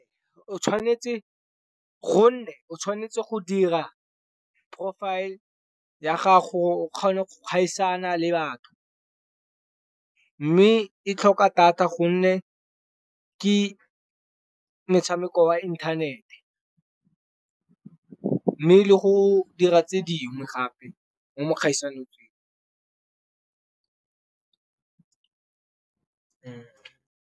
Gonne o tshwanetse go dira profile ya gago o kgone go kgaisano le batho. Mme e tlhoka data gonne ke motshameko wa inthanete, mme le go dira tse dingwe gape mo dikgaisanong.